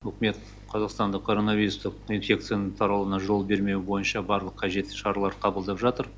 үкімет қазақстанда короновирустық инфекцияның таралауына жол бермеу бойынша барлық қажетті шаралар қабылдап жатыр